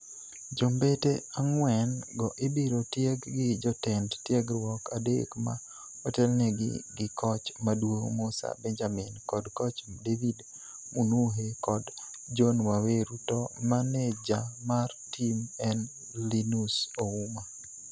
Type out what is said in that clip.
Jombete ang'wen go ibiro tieg gi jotend tiegruok adek ma otelnegi gi koch maduong' Musa Benjamin kod koch David Munuhe kod John Waweru to maneja mar tim en Linus Ouma.